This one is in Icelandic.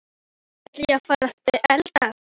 Jæja, ég ætla að fara að elda.